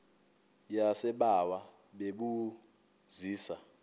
yasebawa bebu zisa